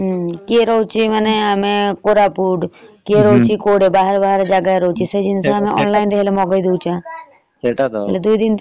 କିଏ ରହୁଛି କୋରାପୁଟ କିଏ ରହୁଛି ବାହାରେ ବାହାରେ ଜାଗାରେ ରହୁଛି ସେ ଜାଗା ରେ online ରେ ମଗେଇଦଉଛି ।